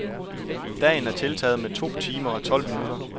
Dagen tiltaget med to timer og tolv minutter.